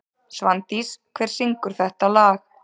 Svandís, hver syngur þetta lag?